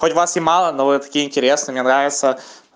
хоть вас и мало но вы такие интересные мне нравится